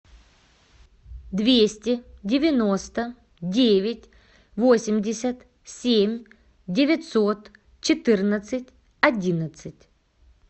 двести девяносто девять восемьдесят семь девятьсот четырнадцать одиннадцать